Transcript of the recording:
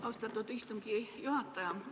Austatud istungi juhataja!